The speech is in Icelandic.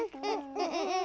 og